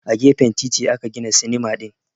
A gefen titi aka gina sinima din